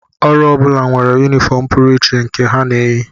Ọrụ ọ bụla nwere yunifọm pụrụ iche nke ha na-eyi